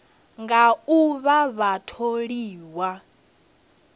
nga u vha vha tholiwa